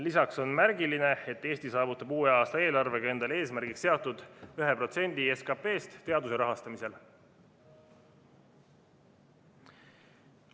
Lisaks on märgiline, et Eesti saavutab uue aasta eelarvega endale eesmärgiks seatud 1% SKP-st teaduse rahastamisel.